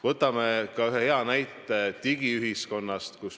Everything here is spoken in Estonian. Võtame ühe hea näite digiühiskonna kohta.